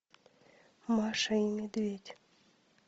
маша и медведь